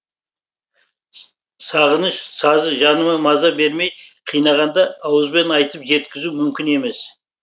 сағыныш сазы жаныма маза бермей қинағанда ауызбен айтып жеткізу мүмкін емес